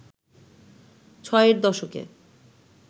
ছয়ের দশকে